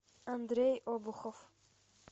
андрей обухов